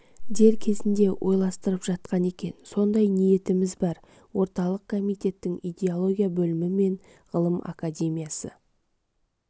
дер кезінде орайластырылып жатқан екен сондай ниетіміз бар орталық комитеттің идеология бөлімі мен ғылым академиясы